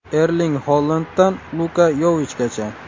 Erling Holanddan Luka Yovichgacha.